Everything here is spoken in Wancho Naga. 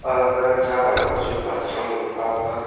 agaga jaga luka chupa chethrang ngu paka.